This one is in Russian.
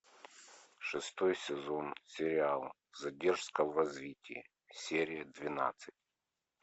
шестой сезон сериала задержка в развитии серия двенадцать